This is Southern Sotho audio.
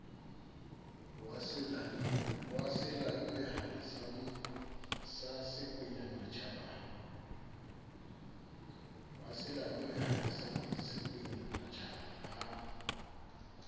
wa selalomehadi sa sekwenyamatjhaba ha